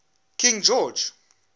king george